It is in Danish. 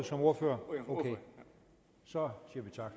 som ordfører ok så siger vi tak